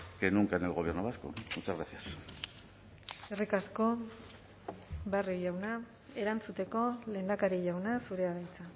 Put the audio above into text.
que nunca en el gobierno vasco muchas gracias eskerrik asko barrio jauna erantzuteko lehendakari jauna zurea da hitza